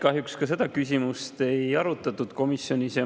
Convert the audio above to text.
Kahjuks seda küsimust komisjonis ei arutatud.